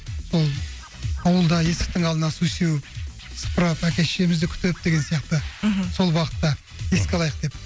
сол ауылда есіктің алдына су сеуіп сыпырып әке шешемізді күтіп деген сияқты мхм сол бағытта еске алайық деп